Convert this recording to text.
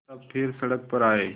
तब फिर सड़क पर आये